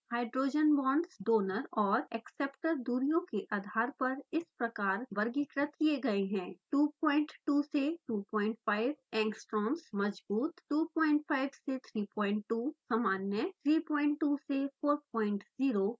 hydrogen bonds donor और acceptor दूरियों के आधार पर इस प्रकार वर्गीकृत किये गए हैं: 22 से 25 angstroms मज़बूत 25 से 32 सामान्य 32 से 40 कमज़ोर